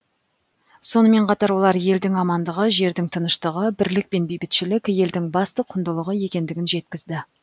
сонымен қатар олар елдің амандығы жердің тыныштығы бірлік пен бейбітшілік елдің басты құндылығы екендігін жеткізді